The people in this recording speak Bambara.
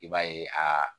I b'a ye aa